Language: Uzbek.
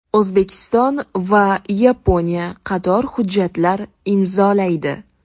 O‘zbekiston va Yaponiya qator hujjatlar imzolaydi.